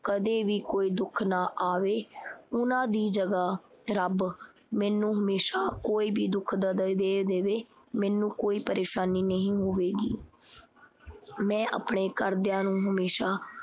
ਕਦੇ ਵੀ ਕੋਈ ਦੁੱਖ ਨਾ ਆਵੇ। ਉਨ੍ਹਾਂ ਦੀ ਜਗ੍ਹਾ ਰੱਬ ਮੈਨੂੰ ਹਮੇਸ਼ਾ ਕੋਈ ਵੀ ਦੇ ਦੇਵੇ, ਮੈਨੂੰ ਕੋਈ ਪ੍ਰੇਸ਼ਾਨੀ ਨਹੀਂ ਹੋਵੇਗੀ। ਮੈਂ ਆਪਣੇ ਘਰਦਿਆਂ ਨੂੰ ਹਮੇਸ਼ਾ